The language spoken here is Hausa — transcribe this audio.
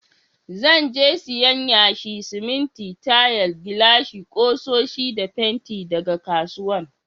Zan je siyan yashi, siminti, tayal, gilashi, kusoshi da fenti daga kasuwan.